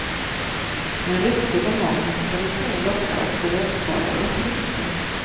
Men ryktet om matens kvalitet lockar också vägfarare och turister.